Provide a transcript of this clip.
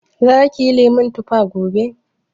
Za kiyi lemun tuffa gobe?